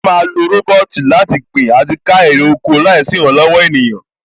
À á ma lo rọ́bọ́ọ̀tì láti gbin àti ká èrè oko láìsí ìrànlọ̀wọ̀ ènìyàn